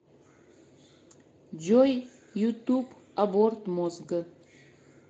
джой ютуб аборт мозга